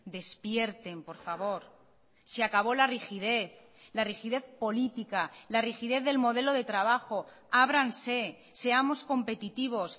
despierten por favor se acabó la rigidez la rigidez política la rigidez del modelo de trabajo ábranse seamos competitivos